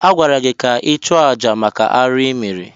Agwara gị ka ị chụọ àjà maka arụ ịmere!